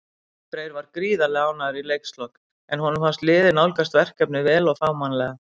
Freyr var gríðarlega ánægður í leikslok, en honum fannst liðið nálgast verkefnið vel og fagmannlega.